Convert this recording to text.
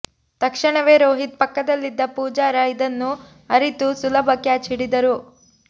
ತಕ್ಷಣವೇ ರೋಹಿತ್ ಪಕ್ಕದಲ್ಲಿದ್ದ ಪೂಜಾರ ಇದನ್ನು ಅರಿತು ಸುಲಭ ಕ್ಯಾಚ್ ಹಿಡಿದರು